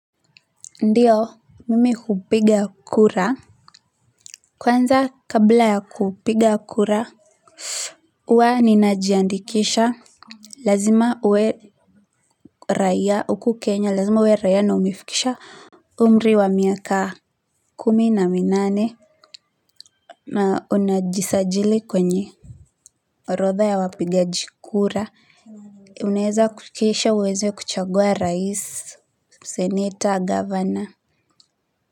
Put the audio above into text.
Ndiyo, mimi hupiga kura kwanza, kabla ya kupiga kura huwa ninajiandikisha. Lazima uwe raia hapa Kenya, lazima uwe raia na umefikisha umri wa miaka kumi na minane. Na unajisajili kwenye orodha ya wapigaji kura unaweza kukisha uweze kuchagua rais senator governor.